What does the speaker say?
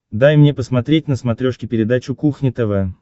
дай мне посмотреть на смотрешке передачу кухня тв